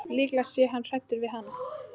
Líklega sé hann hræddur við hana.